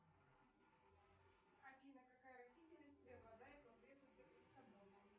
афина какая растительность преобладает в окрестностях лиссабона